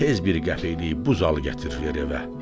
Tez bir qəpiklik buzalı gətir ver evə.